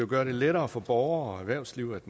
gøre det lettere for borgere og erhvervsliv at